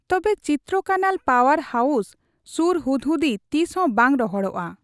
ᱛᱚᱵᱮ ᱪᱤᱱᱱᱟᱠᱟᱱᱟᱞ power house ᱥᱩᱨ ᱦᱩᱫᱦᱩᱫᱤ ᱛᱤᱥᱦᱚᱸ ᱵᱟᱝ ᱨᱚᱦᱚᱲᱚᱜᱼᱟ ᱾